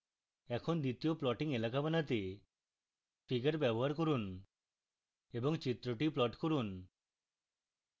এখন দ্বিতীয় plotting এলাকা বানাতে figure ব্যবহার করুন এবং চিত্রটি plot করুন